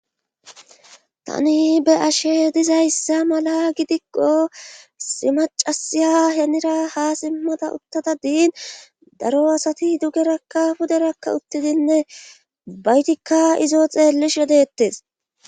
tani be'ashe dizayssa mala gidikko issi macasya henira ha simmada uttada diin daro asati dugerakka puderakka uttidinne ubbaytikka izo xeellish wedettes